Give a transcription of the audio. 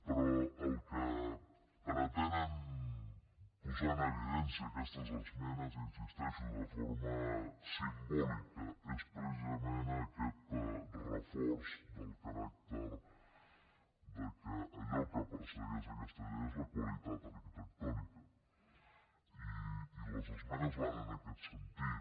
però el que pretenen posar en evidencia aquestes esmenes hi insisteixo de forma simbòlica és precisament aquest reforç del caràcter de que allò que persegueix aquesta llei és la qualitat arquitectònica i les esmenes van en aquest sentit